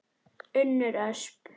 Unnur Ösp.